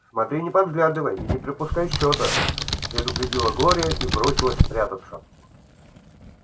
смотри не подглядывай и не пропускай счета предупредила глория и бросилась прятаться